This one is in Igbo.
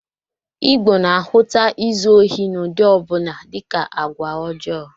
Igbo na-ahụta izu ohi n'ụdị ọ bụla dịka agwa ọjọọ